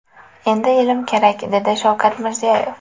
Endi ilm kerak”, dedi Shavkat Mirziyoyev.